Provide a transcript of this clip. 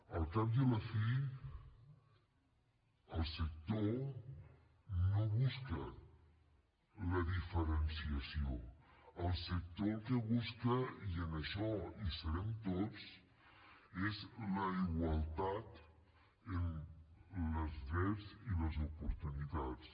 al cap i a la fi el sector no busca la diferenciació el sector el que busca i en això hi serem tots és la igualtat en els drets i les oportunitats